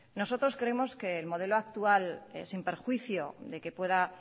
nosotros creemos que el modelo actual sin perjuicio de que pueda